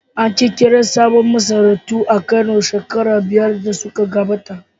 An ƙirƙiri sabbin masarautu a Kano shekaru biyar da suka gabata.